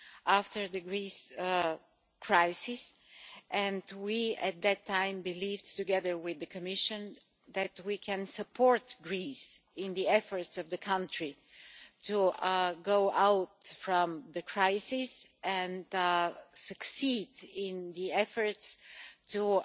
after the Greece crisis, and at that time we believed, together with the Commission, that we could support Greece in the efforts of the country to get out of the crisis and succeed in the efforts to